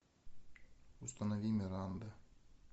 установи миранда